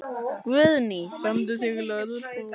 Guðný: Frömduð þið lögbrot?